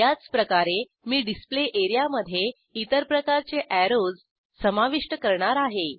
याचप्रकारे मी डिस्प्ले एरियामधे इतर प्रकारचे अॅरोज समाविष्ट करणार आहे